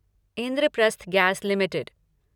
Indraprastha gas limited